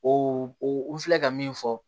O o n filɛ ka min fɔ